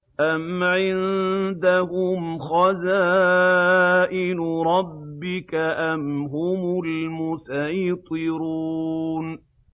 أَمْ عِندَهُمْ خَزَائِنُ رَبِّكَ أَمْ هُمُ الْمُصَيْطِرُونَ